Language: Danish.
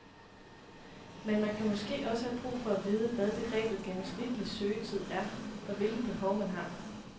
Men man kan måske også have brug for at vide, hvad begrebet gennemsnitlig søgetid er og hvilke behov, man har.